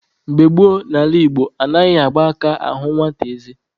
Mgbe gboo n'ala Igbo, anaghị agba aka ahụ nwata eze.